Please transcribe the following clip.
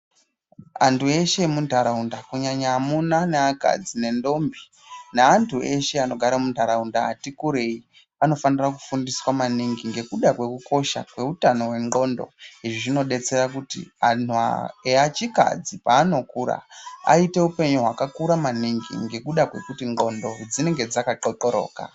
Andu eshe emundaraunda kunyanya amuna neakadzi nentombi neandu eshe anogare mundaraunda ati kurei anofanira kufundiswa maningi ngekuda kwekukosha kweutano wendxondo zvinobetsera kuti anhu echikadzi panokura aite upenyu hwakakura maningi ngekuda kwekuti ndxondo dzinenge dzaka xoxoroka.